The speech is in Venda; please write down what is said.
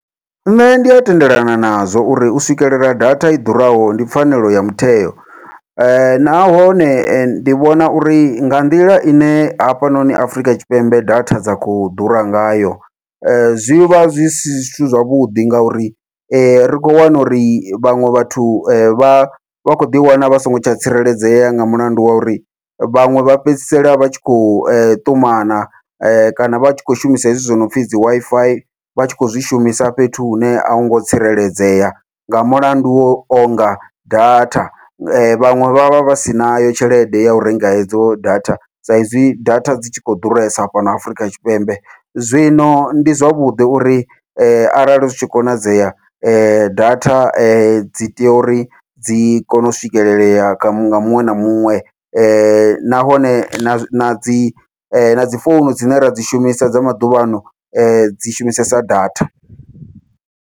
Nṋe ndi ya tendelana nazwo uri u swikelela data i ḓuraho ndi pfhanelo ya mutheo, nahone ndi vhona uri nga nḓila ine hafhanoni Afrika Tshipembe data dza kho ḓura ngayo zwivha zwi si zwithu zwavhuḓi ngauri ri khou wana uri vhaṅwe vhathu vha vha kho ḓi wana vha songo tsha tsireledzea nga mulandu wa uri vhaṅwe vha fhedzisela vha tshi khou ṱumana kana vha tshi khou shumisa hezwi wo nopfhi dzi Wi-Fi, vha tshi kho zwi shumisa fhethu hune ahungo tsireledzea nga mulandu wau onga data. Vhaṅwe vha vha vha si nayo tshelede yau renga hedzo data, sa izwi data dzi tshi khou ḓuresa fhano Afurika Tshipembe zwino ndi zwavhuḓi uri arali zwi tshi konadzea data dzi tea uri dzi kone u swikelelea kha nga muṅwe na muṅwe, nahone na nadzi nadzi founu dzine ra dzi shumisa dza maḓuvhano dzi shumisesa data.